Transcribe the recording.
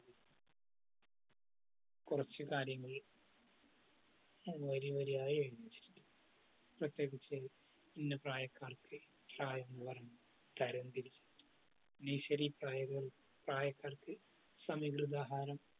കുറച്ചു കാര്യങ്ങൾ വരിവരിയായി എഴുതി വച്ചിട്ടുണ്ട്. പ്രത്യേകിച്ച് ഇന്ന പ്രായക്കാർക്ക് പ്രായം പോലെ തരാം തിരിക്കും. nursery പ്രായ പ്രായക്കാർക്ക് സമീകൃതാഹാരം